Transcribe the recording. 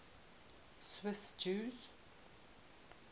swiss jews